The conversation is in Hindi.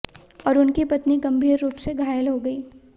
और उनकी पत्नी गंभीर रूप से घायल हो गई